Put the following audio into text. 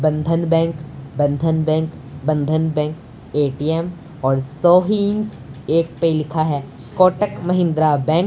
बंधन bank Bandhan bank Bandhan bank ATM और सोहिन एक पे लिखा है कोटक महिंद्रा बैंक ।